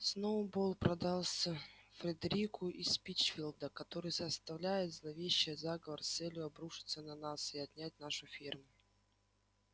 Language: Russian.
сноуболл продался фредерику из пинчфилда который составляет зловещий заговор с целью обрушиться на нас и отнять нашу ферму